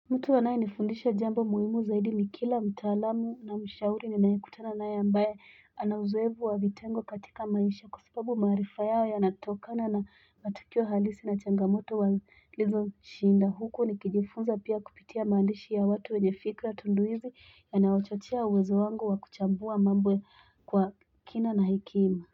Mtu anaye nifundisha jambo muhimu zaidi kila mtaalamu na mshauri ninayekutana naye ambaye ana uzoevu wa vitengo katika maisha kwa sababu maarifa yao yanatokana na matukio halisi na changamoto wa lizo shinda huku nikijifunza pia kupitia maandishi ya watu wenye fikra tunduizi yanayochachia uwezo wangu wa kuchambua mambo kwa kina na hekima.